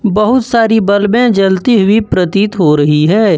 बहुत सारी बल्बे जलती हुई प्रतीत हो रही है।